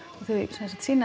og þau sýna